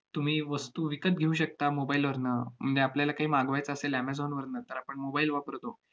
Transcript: तुम्ही वस्तू विकत घेऊ शकता mobile वरनं, आपल्याला काही मागवायचं असेल amazon वरनं, तर आपण mobile वापरतो.